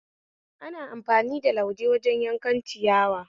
Ana amfani da lauje wajen yankan ciyawa